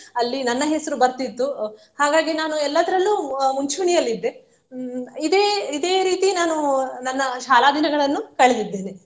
ಅಲ್ಲಿ ನನ್ನ ಹೆಸರು ಬರ್ತ್ತಿತ್ತು ಅಹ್ ಹಾಗಾಗಿ ನಾನು ಎಲ್ಲದರಲ್ಲೂ ಅಹ್ ಮುಂಚೂಣಿಯಲ್ಲಿದ್ದೆ ಹ್ಮ್ ಇದೇ ಇದೇ ರೀತಿ ನಾನು ನನ್ನ ಶಾಲಾ ದಿನಗಳನ್ನು ಕಳೆದಿದ್ದೇನೆ.